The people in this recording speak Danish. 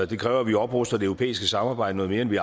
det kræver at vi opruster det europæiske samarbejde noget mere end vi